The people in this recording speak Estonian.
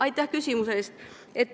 Aitäh küsimuse eest!